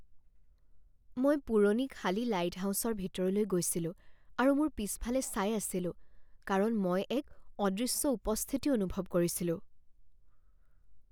মই পুৰণি খালী লাইটহাউচৰ ভিতৰলৈ গৈছিলো আৰু মোৰ পিছফালে চাই আছিলো কাৰণ মই এক অদৃশ্য উপস্থিতি অনুভৱ কৰিছিলো।